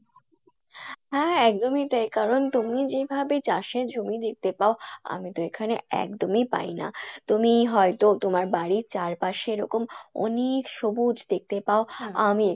হ্যাঁ হ্যাঁ একদমই তাই কারন তুমি যেভাবে চাষে জমি দেখতে পাও আমি তো এখানে একদমই পাই না, তুমি হয়তো তোমার বাড়ির চারপাশে এরকম অনেক সবুজ দেখতে পাও আমি